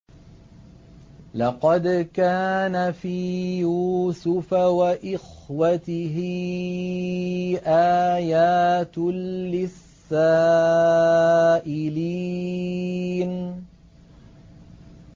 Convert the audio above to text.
۞ لَّقَدْ كَانَ فِي يُوسُفَ وَإِخْوَتِهِ آيَاتٌ لِّلسَّائِلِينَ